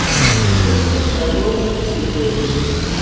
Úrslit verða ljós síðdegis